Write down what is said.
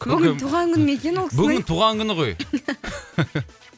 бүгін туған күні ме екен ол кісінің бүгін туған күні ғой